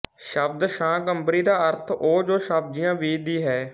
ਸ਼ਬਦ ਸ਼ਾਕੰਭਰੀ ਦਾ ਅਰਥ ਉਹ ਜੋ ਸਬਜ਼ੀਆਂ ਬੀਜਦੀ ਹੈ